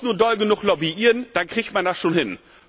Man muss nur doll genug lobbyieren, dann kriegt man das schon hin.